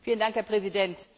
Herr Präsident!